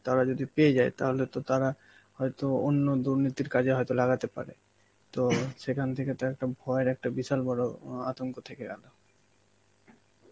তারা যদি পেয়ে যায় তাহলে তো তারা হয়তো অন্য দুর্নীতির কাজে হয়তো লাগাতে পারে, তো সেখান থেকে তো একটা ভয়ের একটা বিশাল বড় আঁ আতঙ্ক থেকে গেল.